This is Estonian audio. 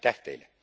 Aitäh teile!